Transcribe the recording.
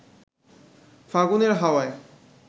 ফাগুনের হাওয়ায়